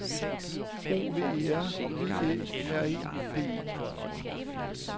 O V E R V Æ R E D E